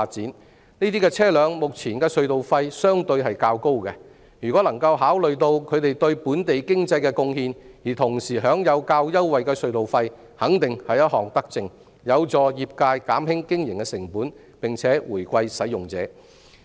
這些車輛目前的隧道費相對較高，若能考慮到它們對本地經濟的貢獻，而讓它們可享有較優惠的隧道費，肯定是一項德政，有助業界減輕經營成本並回饋使用者。